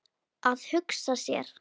Að hugsa sér.